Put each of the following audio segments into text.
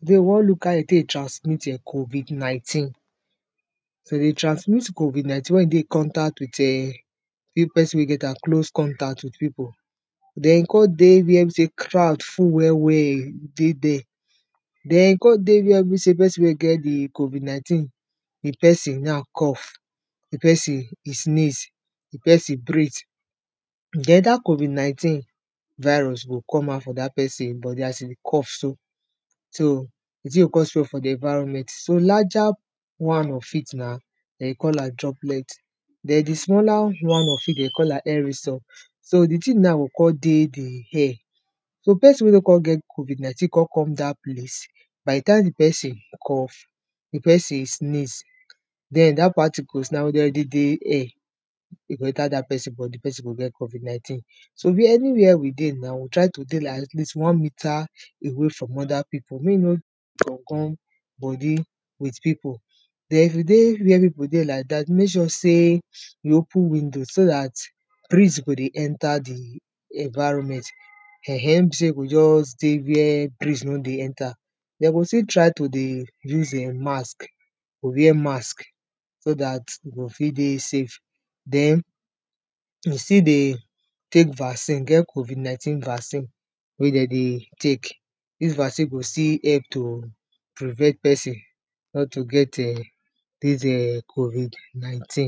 Today we wan look how de tek dey transmit[um]COVID-19. So de dey transmit COVID-19 when you dey in contact with[um]person wey e get am, close contact with pipo, den in con dey where be sey crowd full well well, dey dere. Den, e con dey where be sey person wey e get di COVID-19, di person na cough, di person e sneeze, di person breath den dat COVID-19 virus go come out from dat person body as e dey cough so. So, di thing go con spread for di environment, so larger one of it na den dey call am droplet, den di smaller one of it de dey call am herrison, so di thing na go con dey di air, so person wey no con get COVID-19 con come dat place by di time di person cough, di person sneeze, den dat particles now wey don ready dey air, e go enter dat person body di person go get COVID-19.so where anywhere we dey now, we go try to dey like at least 1metre away from other pipo mey no gum gum body with pipo. Den if you dey wey pipo dey like dat mek sure sey, you open window so dat breeze go dey enter di environment, um, no be sey you go just dey where breeze no dey enter, dey go still try to dey use um mask, you go wear mask, so dat you go fit dey safe. Den, you still dey tek vaccine, e get COVID-19 vaccine, wey de dey tek, dis vaccine go still help to prevent person not to get um, dis um COVID-19,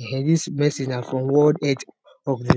um um, dis message na from world health organiz.